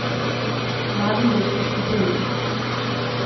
Mamin dekliški priimek.